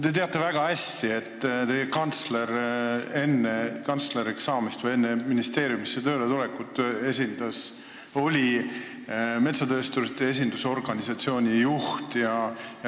Te teate väga hästi, et teie kantsler enne kantsleriks saamist või enne ministeeriumisse tööle tulekut oli metsatöösturite esindusorganisatsiooni juht.